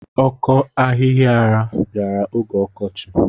Ọkọ ahihiara bịara oge ọkọchị.